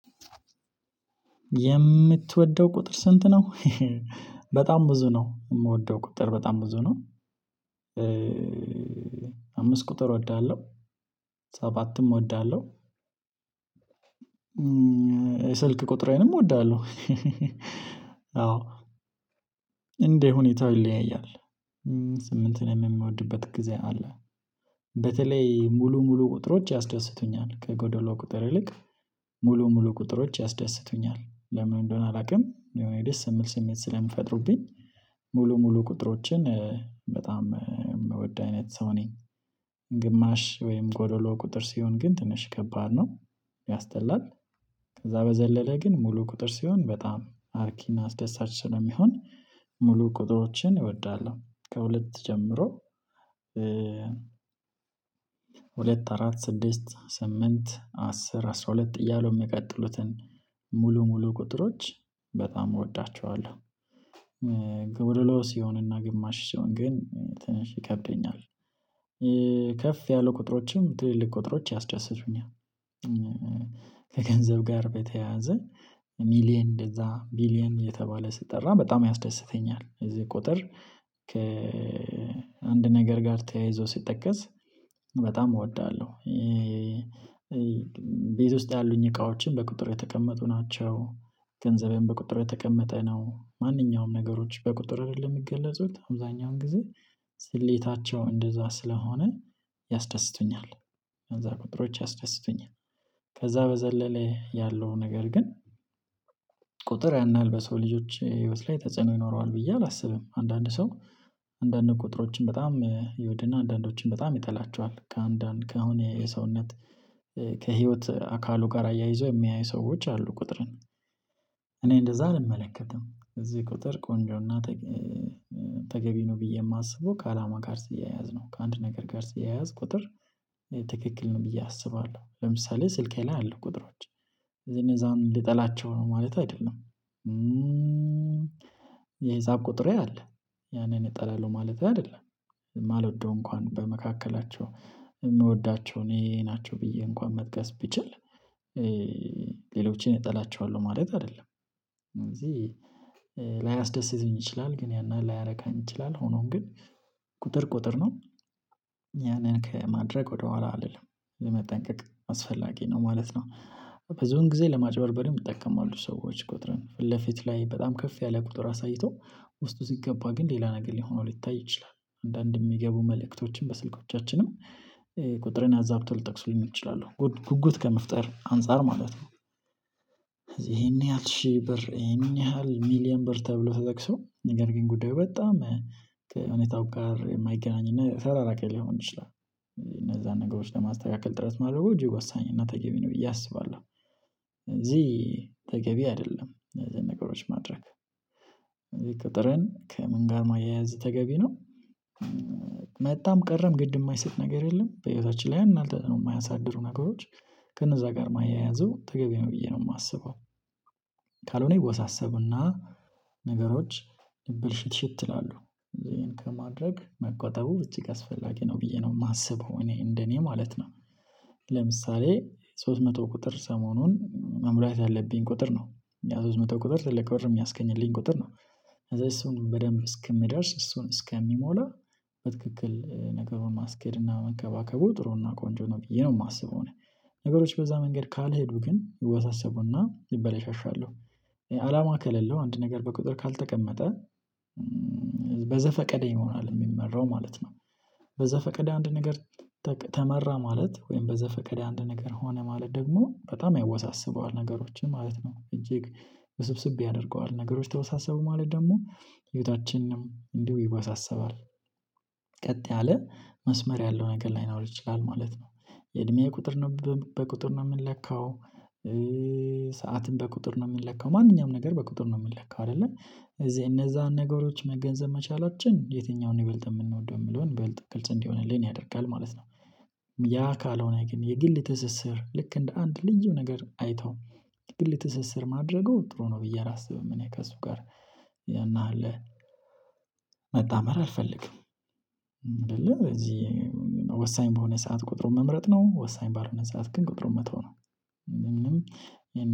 የምትወደው ቁጥር ስንት ነው? በጣም ብዙ ነው የምወደው ቁጥር በጣም ብዙ ነው። አምስት ቁጥር እወዳለሁ ሰባትም እወዳለሁ። ስልክ ቁጥሬንም እወዳለሁ። አዎ እንደ ሁኔታው ይለያያል። ስምንትንም የምወድበት ጊዜ አለ። በተለይ ሙሉ ሙሉ ቁጥሮች ያስደስቱኛል ከጎዶሎ ቁጥር ይልቅ ሙሉ ሙሉ ቁጥሮች ያስደስቱኛል ለምን እንደሆነ አላውቅም የሆነ ደስ የምል ስሜት ስለምፈጥሩብኝ። ሙሉ ሙሉ ቁጥሮችን በጣም የምወድ አይነት ሰው ነኝ። ግማሽ ወይም ጎዶሎ ቁጥር ሲሆን ግን ትንሽ ከባድ ነው። ያስጠላል። ከዛ በዘለለ ግን ሙሉ ቁጥር ሲሆን በጣም አርኪና አስደሳች ስለሚሆን። ሙሉ ቁጥሮችን እወዳለሁ ከሁለት ጀምሮ። ሁለት አራት ስድስት ስምንት አስር አስራ ሁለት እያሉ የሚቀጥሉትን ሙሉ ሙሉ ቁጥሮች በጣም እወዳቸዋለሁ። ጎዶሎ ስሆንና ግማሽ ሰሆን ግን ትንሽ ይከብደኛል። ከፍ ያሉ ቁጥሮችም ትልልቅ ቁጥሮች ያስደስቱኛል። ከገንዘብ ጋር በተያያዘ ሚሊየን እንደዛ ቢሊየን የተባለ ስጠራ በጣም ያስደስተኛል። እዚህ ቁጥር ከአንድ ነገር ጋር ተያይዞ ሲጠቀስ በጣም እወዳለሁ። ቤት ውስጥ ያሉኝ እቃዎችን በቁጥር የተቀመጡ ናቸው። ገንዘቤን በቁጥር የተቀመጠ ነው ማንኛውም ነገሮች በቁጥር አይደለም የሚገለጹት አብዛኛውን ጊዜ ስሌታቸው እንደዛ ስለሆነ ያስደስቱኛል። እነዛ ቁጥሮች ያስደስቱኛል። ከዛ በዘለለ ያለው ነገር ግን ቁጥር ያን ያህል በሰው ልጆች ህይወት ላይ ተጽዕኖ ይኖረዋል ብዬ አላስብም። አንዳንድ ሰው አንዳንድ ቁጥሮችን በጣም ይወድና አንዳንዶችን በጣም ይጠላቸዋል። ከአንዳንድ ከአሁን የሰውነት ከህይወት አካሉ ጋር አያይዞ የሚያዩ ሰዎች አሉ። ቁጥርን እኔ እንደዛ አልመለከትም። እዚህ ቁጥር ቆንጆና ተገቢ ነው ብዬ የማስበው ከአላማ ጋር ሲያያዝ ነው። ከአንድ ነገር ጋር ሲያያዝ ቁጥር ትክክል ነው ብዬ አስባለሁ። ለምሳሌ ስልኬ ላይ አሉ ቁጥሮች ከዚህ እነዛን ልጠላቸው ነው ማለት አይደለም። የህሳብ ቁጥሬ አለ። ያንን እጠላለሁ ማለት አይደለም። የማልወደው እንኳን በመካከላቸው የምወዳቸው እኔ ናቸው ብዬ እንኳን መጥቀስ ቢችል። ሌሎችን እጠላቸዋለሁ ማለት አይደለም። ስለዚህ ላያስደስቱኝ ይችላል ግን ያን ያህል ላያረካኝ ይችላል ሆኖም ግን ቁጥር ቁጥር ነው። ያንን ከማድረግ ወደኋላ አልልም መጠንቀቅ አስፈላጊ ነው ማለት ነው። ብዙን ጊዜ ለማጭበርበርም ይጠቀማሉ ሰዎች ቁጥርን ፊት ለፊት ላይ በጣም ከፍ ያለ ቁጥር አሳይተው ውስጡ ሲገባ ግን ሌላ ነገር ሊሆን ሆኖ ሊታይ ይችላል አንዳንድ የሚገቡ መልእክቶችን በስልኮቻችንም ቁጥር አዛብተው ልጠቅሱ እችላለሁ ጉጉት ከመፍጠር አንፃር ማለት ነው። ይሄን ያህል ሺህ ብር ይሄን ያህል ሚሊየን ብር ተብሎ ተጠቅሶ ነገር ግን ጉዳዩ በጣም ከእውነታው ጋር የማይገናኝ እና የተራራቀ ልሆን ይችላል። እነዛን ነገሮች ለማስተካከል ጥረት ማድረጉ እጅግ ወሳኝ እና ተገቢ ነው ብዬ አስባለሁ። ስለዚህ ተገቢ አይደለም እነዚህን ነገሮች ማድረግ። እነዚህ ቁጥረን ከምን ጋር ማያያዝ ተገቢ ነው። መጣም ቀረም ግድ የማይሰጥ ነገር የለም በህይወታችን ላይ ያን ያህል ተጽዕኖ የማያሳድሩ ነገሮች ከነዛ ጋር ማያያዙ ተገቢ ነው ብዬ ነው የማስበው። ካልሆነ ይወሳሰቡና ነገሮች ብልሽት ሽት ይላሉ ይሄን ከማድረግ መቆጠቡ እጅግ አስፈላጊ ነው ብዬ ነው የማስበው እኔ እንደኔ ማለት ነው። ለምሳሌ ሶስት መቶ ቁጥር ሰሞኑን መምሪያ ያለብኝ ቁጥር ነው። ያ ሶስት መቶ ቁጥር ትልቅ ብር የሚያስገኝልኝ ቁጥር ነው። ከዛ እሱን በደንብ እስክምደርስ እሱን እስከሚሞላ በትክክል ነገሩን ማስኬድ እና መንከባከቡ ጥሩ እና ቆንጆ ነው ብዬ ነው የማስበው። ነገሮች በዛ መንገድ ካልሄዱ ግን ይወሳሰቡና ይበላሻሻሉ። አላማ ከሌለው አንድ ነገር በቁጥር ካልተቀመጠ በዘፈቀደ ይሆናል የሚመራው ማለት ነው። በዘፈቀደ አንድ ነገር ተመራ ማለት ወይም በዛ ፈቀደ አንድ ነገር ሆነ ማለት ደግሞ በጣም ያወሳስበዋል ነገሮችን ማለት ነው እጅግ ውስብስብ ያደርገዋል ነገሮች ተወሳሰቡ ማለት ደግሞ ህይወታችንም እንዲሁ ይወሳሰባል። ቀጥ ያለ መስመር ያለው ነገር ላይኖር ይችላል ማለት ነው። የእድሜ ቁጥር ነው በቁጥር ነው የምንለካው። ሰዓትን በቁጥር ነው የምንለከው ማንኛውም ነገር በቁጥር ነው የምንለከው አይደለም እዚህ እነዛን ነገሮች መገንዘብ መቻላችን የትኛውን ይበልጥ የምንወደው የምለውን ይበልጥ ግልጽ እንዲሆንልን ያደርጋል ማለት ነው። ያ ካልሆነ ግን የግል ትስስር ልክ እንደ አንድ ልዩ ነገር አይተው የግል ትስስር ማድረገው ጥሩ ነው ብዬ አላስብም። እኔ ከእሱ ጋር አለ መጣመር አልፈልግም። እንደለ እዚህ ወሳኝ በሆነ ሰዓት ቁጥሩን መምረጥ ነው ወሳኝ ባልሆነ ሰዓት ግን ቁጥሩን መተው ነው። ምንም